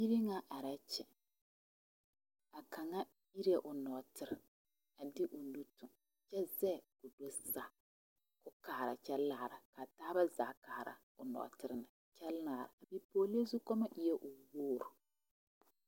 Biiri ŋa arɛɛ kyɛ a kaŋa iree o nɔɔtere a de o nu tɔŋ kyɛ zɛge k'o do saa ka o kaara kyɛ laara ka a taaba zaa kaara o nɔɔtere na kyɛ laara a bipɔgelee zukoɔma eɛ wogri.